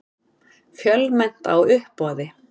Fjölmennt á uppboði